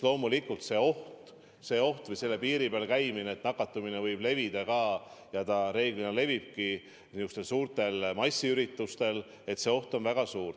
Loomulikult oht, et selle piiri peal käimise tõttu nakatumine võib levida – see reeglina levibki niisugustel suurtel massiüritustel –, on väga suur.